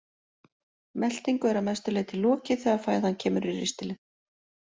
Meltingu er að mestu leyti lokið þegar fæðan kemur í ristilinn.